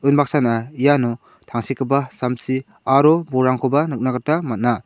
unbaksana iano tangsekgipa samsi aro bolrangkoba nikna gita man·a.